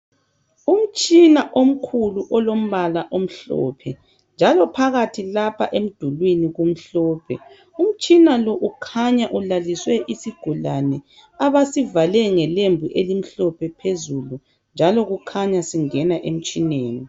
Umtshina omkhulu olombala omhlophe njalo phakathi lapha emdulini kumhlophe. Umtshina lo ukhanya ulaliswe isigulane abasivale ngelembu elimhlophe phezulu njalo kukhanya singena emtshineni.